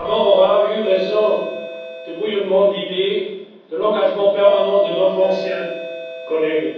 La mort aura eu raison du bouillonnement d'idées et de l'engagement permanent de notre ancien collègue.